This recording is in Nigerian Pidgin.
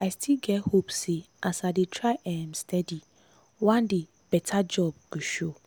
i still get hope say as i dey try um steady one day better job go show.